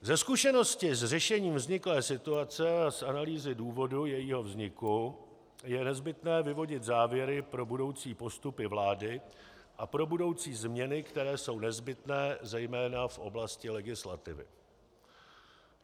Ze zkušenosti s řešením vzniklé situace a z analýzy důvodu jejího vzniku je nezbytné vyvodit závěry pro budoucí postupy vlády a pro budoucí změny, které jsou nezbytné zejména v oblasti legislativy.